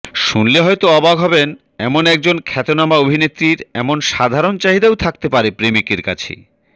শুনলে হয়তো অবাক হবেন এমন একজন খ্যাতনামা অভিনেত্রীর এমন সাধারণ চাহিদাও থাকতে পারে প্রেমিকের কাছে